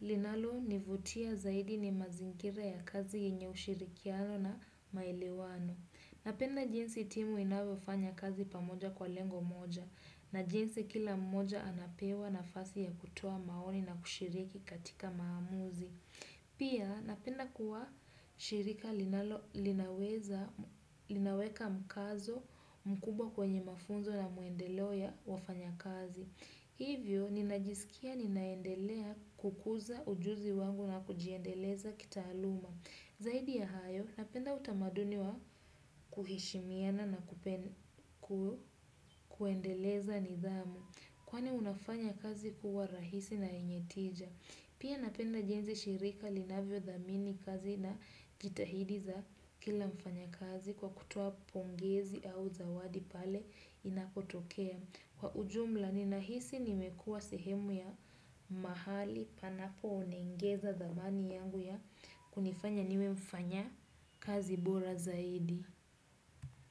linalo nivutia zaidi ni mazingira ya kazi yenye ushirikiano na maelewano. Napenda jinsi timu inavofanya kazi pamoja kwa lengo moja, na jinsi kila mmoja anapewa nafasi ya kutoa maoni na kushiriki katika maamuzi. Pia napenda kuwa shirika linaweka mkazo mkubwa kwenye mafunzo na muendeleo ya wafanya kazi. Hivyo, ninajisikia ninaendelea kukuza ujuzi wangu na kujiendeleza kitaaluma. Zaidi ya hayo, napenda utamaduni wa kuhishimiana na kuendeleza nidhamu. Kwani unafanya kazi kuwa rahisi na yenye tija. Pia napenda jinsi shirika linavyo dhamini kazi na jitahidi za kila mfanya kazi kwa kutoa pongezi au zawadi pale inapotokea. Kwa ujumla ninahisi nimekua sehemu ya mahali panapo unengeza dhamani yangu ya kunifanya niwe mfanyakazi bora zaidi.